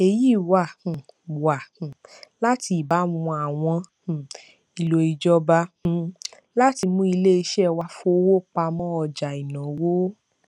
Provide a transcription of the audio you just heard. èyí wá um wá um láti ìbámu àwọn um ìlò ìjọba um láti mú iléiṣẹ wá fowó pa mọ ọjà ìnáwó